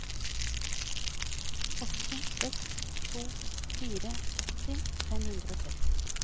åtte seks to fire åtti fem hundre og tretti